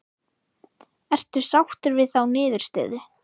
Ertu sáttur við þá niðurstöðu?